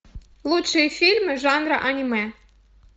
лучшие фильмы жанра аниме